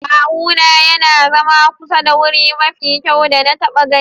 Kawuna ya na zama kusa da wuri mafi kyau da na taba gani.